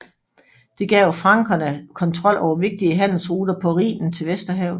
Det gav frankerne kontrol over vigtige handelsruter på Rhinen til Vesterhavet